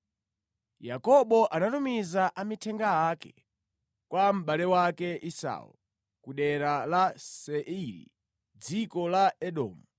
Yakobo anatumiza amithenga ake kwa mʼbale wake Esau ku dera la Seiri, dziko la Edomu.